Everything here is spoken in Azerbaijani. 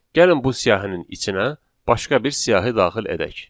Gəlin bu siyahının içinə başqa bir siyahı daxil edək.